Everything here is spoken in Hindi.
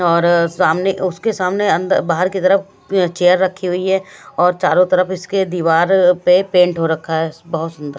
और सामने उसके सामने अन्द बाहर की तरफ चेयर रखी हुई है और चारों तरफ इसके दीवार पे पेंट हो रखा है बहोत सुंदर--